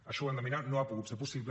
això ho hem de mirar no ha pogut ser possible